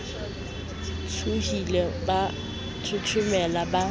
tshohile ba thothomela ba sa